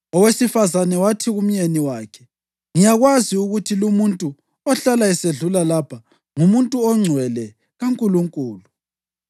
Owesifazane wathi kumyeni wakhe, “Ngiyakwazi ukuthi lumuntu ohlala esedlula lapha ngumuntu ongcwele kaNkulunkulu.